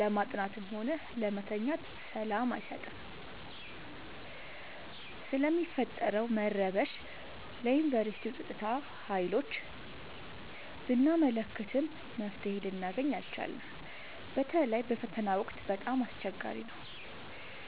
ለማጥናትም ሆነ ለመተኛት ሰላም አይሰጥም። ስለሚፈጠረው መረበሽ ለዮንቨርስቲው ፀጥታ ሀይሎች ብናመለክትም መፍትሔ ልናገኝ አልቻልም። በተለይ በፈተና ወቅት በጣም አስቸገሪ ነው።